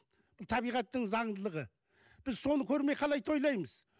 табиғаттың заңдылығы біз соны көрмей қалай тойлаймыз